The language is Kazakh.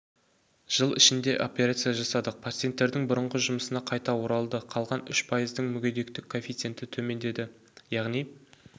жыл ішінде операция жасадық пациенттердің бұрынғы жұмысына қайта оралды қалған үш пайыздың мүгедегтік коэфиценті төмендеді яғни